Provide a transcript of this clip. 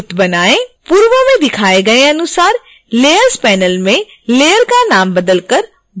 पूर्व में दिखाए गए अनुसार layers panel में लेयर का नाम बदल कर ball करें